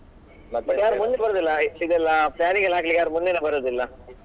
ಮುಂದಕ್ಕೆ ಬರುದಿಲ್ಲ ಇದೆಲ್ಲಾ planning ಎಲ್ಲ ಹಾಕ್ಲಿಕ್ಕೆ ಯಾರು ಮುಂದೇನೆ ಬರುದಿಲ್ಲಾ.